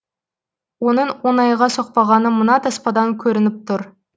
оның оңайға соқпағаны мына таспадан көрініп тұр